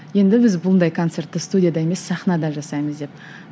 енді біз бұндай концертті студияда емес сахнада жасаймыз деп